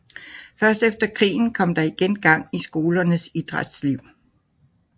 Først efter krigen kom der igen gang i skolernes idrætsliv